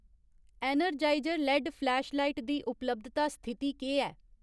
Energiser LED flashlight दी उपलब्धता स्थिति केह् ऐ ?